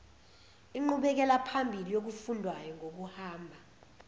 inqubekelaphambili yokufundwayo ngokuhamba